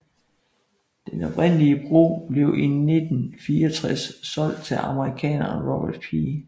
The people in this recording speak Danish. Den oprindelige bro blev i 1964 solgt til amerikaneren Robert P